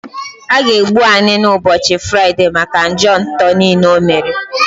A ga egbu Anini ụbọchị Fraịdee maka njọ nto niile o mere